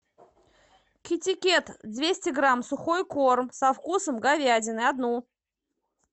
китикет двести грамм сухой корм со вкусом говядины одну